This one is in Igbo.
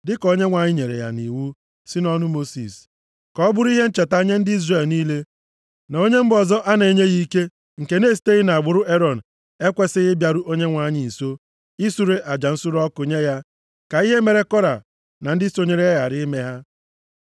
dịka Onyenwe anyị nyere ya nʼiwu site nʼọnụ Mosis. Ka ọ bụrụ ihe ncheta nye ndị Izrel niile na onye mba ọzọ a na-enyeghị ike, nke na-esiteghị nʼagbụrụ Erọn, ekwesighị ịbịaru Onyenwe anyị nso isure aja nsure ọkụ nye ya, ka ihe mere Kora na ndị sonyere ya ghara ime ha.